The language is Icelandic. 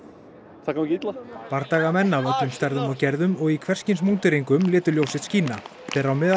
það gangi illa bardagamenn af öllum stærðum og gerðum og í hvers kyns létu ljós sitt skína þeirra á meðal